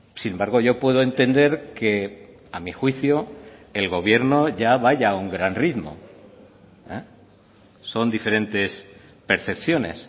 sin embargo yo puedo entender que a mi juicio el gobierno ya vaya a un gran ritmo son diferentes percepciones